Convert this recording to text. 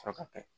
Sɔrɔ ka kɛ